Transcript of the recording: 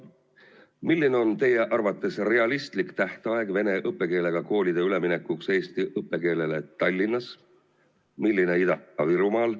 Milline on teie arvates realistlik tähtaeg vene õppekeelega koolide üleminekuks eesti õppekeelele Tallinnas, milline Ida-Virumaal?